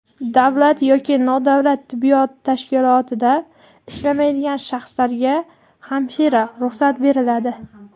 davlat yoki nodavlat tibbiyot tashkilotida ishlamaydigan shaxslarga (hamshira) ruxsat beriladi.